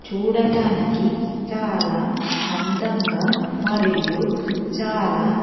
చూడటానికి చాలా అందంగా మరియు చాలా--